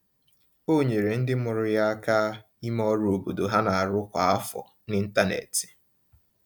O nyeere ndị mụrụ ya aka ime ọrụ obodo ha n'arụ kwa afọ n’ịntanetị.